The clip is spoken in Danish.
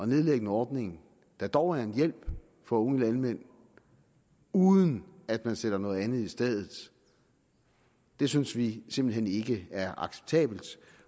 nedlægge en ordning der dog er en hjælp for unge landmænd uden at man sætter noget andet i stedet det synes vi simpelt hen ikke er acceptabelt